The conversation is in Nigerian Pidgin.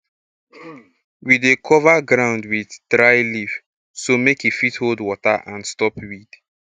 we dey cover ground with dry leaf so make e fit hold water and stop weed